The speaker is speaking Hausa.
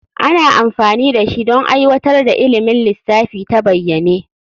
Ana amfani da shi don aiwatar da ilimin lissafi ta bayyane.